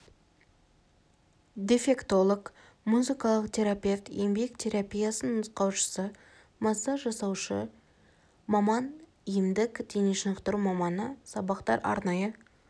дефектолог музыкалық терапевт еңбек терапиясының нұсқаушысы массаж жасаушы маман емдік дене шынықтыру маманы сабақтар арнайы